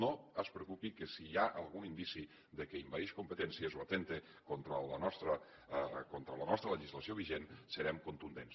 no es preocupi que si hi ha algun indici que envaeix competències o atempta contra la nostra legislació vigent serem contundents